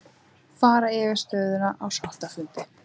Fara yfir stöðuna á sáttafundi